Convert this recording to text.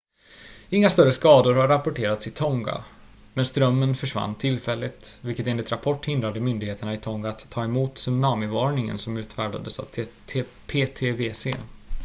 inga större skador har rapporterats i tonga men strömmen försvann tillfälligt vilket enligt rapport hindrade myndigheterna i tonga att ta emot tsunamivarningen som utfärdats av ptwc